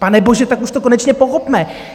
Panebože, tak už to konečně pochopme!